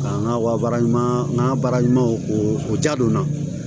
Ka n ka wara ɲuman n ka baara ɲuman k'o ja donna